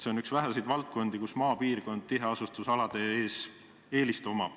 See on üks väheseid valdkondi, kus maapiirkondadel on tiheasustusalade ees eelis.